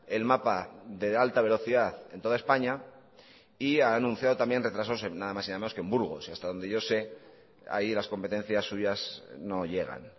el mapa de la alta velocidad en toda españa y ha anunciado también retrasos nada más y nada menos que en burgos y hasta donde yo sé ahí las competencias suyas no llegan